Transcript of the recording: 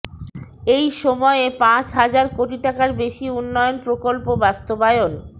এই সময়ে পাঁচ হাজার কোটি টাকার বেশি উন্নয়ন প্রকল্প বাস্তবায়ন